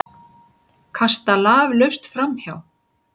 Kasta laflaust framhjá.